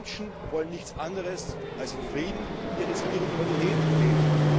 Die Menschen wollen nichts anderes als in Frieden ihre Spiritualität leben.